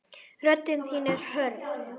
Rödd þín er hörð.